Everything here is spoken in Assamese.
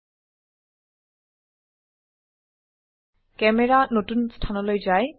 ক্যামেৰা নতুন স্থানলৈ যায়